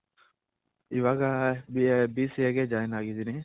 ಇವಾಗ BCA ಗೆ Join ಆಗಿದಿನಿ.